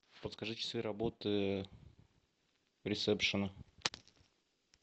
подскажи часы работы ресепшена